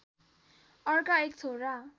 अर्का एक छोरा